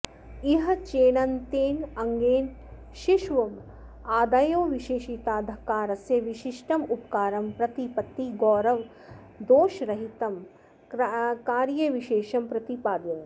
इह चेणन्तेनाङ्गेन षीष्वमादयो विशेषिता धकारस्य विशिष्टमुपकारं प्रतिपत्तिगौरवदोषरहितं कार्यविशेषं प्रतिपादयन्ति